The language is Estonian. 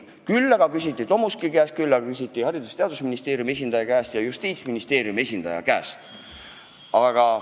Küll aga küsiti Tomuski käest, küsiti Haridus- ja Teadusministeeriumi esindaja käest ja Justiitsministeeriumi esindaja käest.